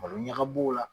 Malo ɲaga b'o la